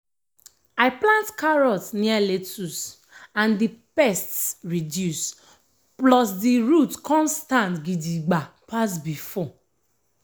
i plant carrot near lettuce and the pests reduce plus the root come stand gidigba pass before.